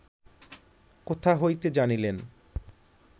কোথা হইতে জানিলেন